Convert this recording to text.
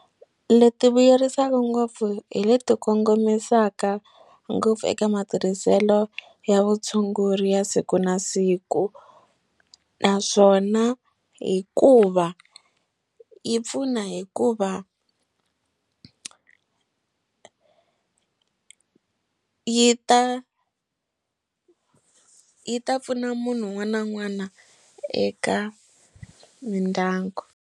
Leti vuyerisaka ngopfu hi leti kongomisaka ngopfu eka matirhiselo ya vutshunguri ya siku na siku naswona hikuva yi pfuna hikuva yi ta yi ta pfuna munhu un'wana na un'wana eka mindyangu.